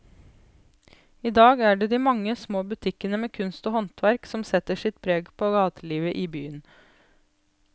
I dag er det de mange små butikkene med kunst og håndverk som setter sitt preg på gatelivet i byen.